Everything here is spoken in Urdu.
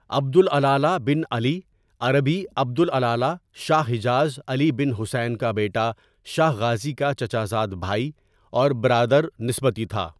عبد الالہ بن علی عربی عبد الإلہ شاہ حجاز علی بن حسین کا بیٹا شاہ غازی کا چچا زاد بھائی اور بردار نسبتی تھا.